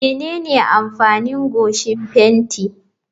Menene amfanin goshin fenti?